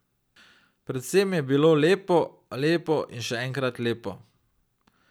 Predvsem je bilo lepo, lepo in še enkrat lepo.